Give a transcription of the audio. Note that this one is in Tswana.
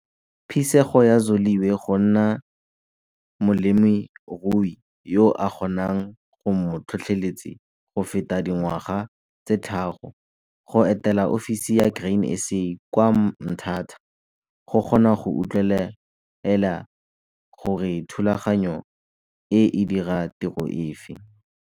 Phisego ya Zoliwe go nna molemirui yo a kgonang go mo tlhotlheletse go feta dingwaga tse tharo, go etela ofisi ya Grain SA kwa Mthatha go kgona go utlwelela gore thulaganyo e e dira tiro efe.